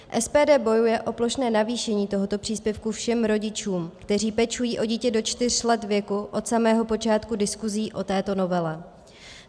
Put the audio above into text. SPD bojuje o plošné navýšení tohoto příspěvku všem rodičům, kteří pečují o dítě do čtyř let věku, od samého počátku diskusí o této novele.